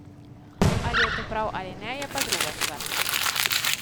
Ali je to prav ali ne, je pa druga stvar.